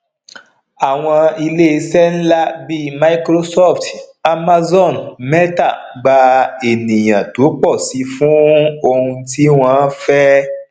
àwọn ilé ìṣe ńlá bí microsoft amazon mẹta gba ènìyàn tó pò sí fún òun ti wọn fẹ